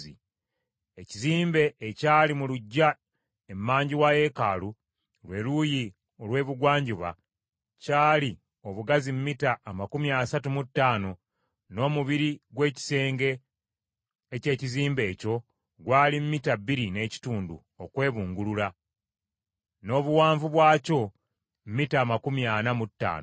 Ekizimbe ekyali mu luggya emanju wa yeekaalu, lwe luuyi olw’ebugwanjuba kyali obugazi mita amakumi asatu mu ttaano, n’omubiri gw’ekisenge eky’ekizimbe ekyo gwali mita bbiri n’ekitundu okwebungulula, n’obuwanvu bwakyo mita amakumi ana mu ttaano.